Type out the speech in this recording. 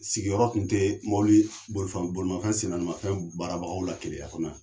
Sigiyɔrɔ tun tɛ bolifɛn bolimafɛn sennaanimafɛn barabagaw la KELEYA kɔnɔ yan.